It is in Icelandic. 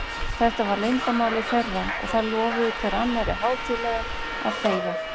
Þetta var leyndarmálið þeirra, og þær lofuðu hver annarri hátíðlega að þegja.